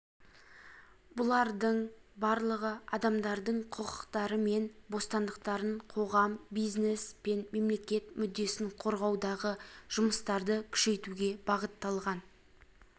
бұлардың барлығы адамдардың құқықтары мен бостандықтарын қоғам бизнес пен мемлекет мүддесін қорғаудағы жұмыстарды күшейтуге бағытталған